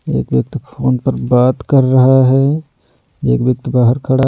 एक व्यक्ति फोन पर बात कर रहा है एक व्यक्ति बाहर खड़ा---